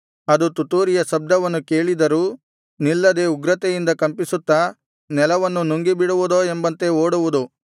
ಅದು ತುತ್ತೂರಿಯ ಶಬ್ದವನ್ನು ಕೇಳಿದರೂ ನಿಲ್ಲದೆ ಉಗ್ರತೆಯಿಂದ ಕಂಪಿಸುತ್ತಾ ನೆಲವನ್ನು ನುಂಗಿಬಿಡುವುದೋ ಎಂಬಂತೆ ಓಡುವುದು